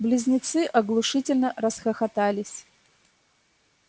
близнецы оглушительно расхохотались